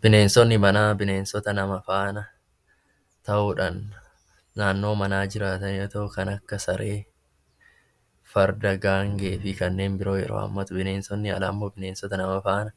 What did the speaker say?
Bineensonni manaa bineensota nama faana ta'uudhaan naannoo manaa jiraatan yoo ta'u, kan akka saree, farda, gaangee fi kanneen biroo yeroo hammatu, bineensonni alaa immoo bineensota nama faana